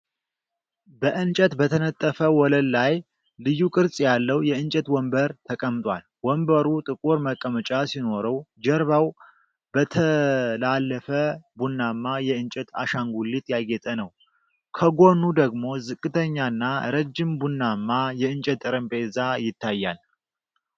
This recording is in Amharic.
በእንጨት በተነጠፈ ወለል ላይ ልዩ ቅርጽ ያለው የእንጨት ወንበር ተቀምጧል። ወንበሩ ጥቁር መቀመጫ ሲኖረው፣ ጀርባው በተጠላለፈ ቡናማ የእንጨት አሻንጉሊት ያጌጠ ነው። ከጎኑ ደግሞ ዝቅተኛና ረጅም ቡናማ የእንጨት ጠረጴዛ ይታያል።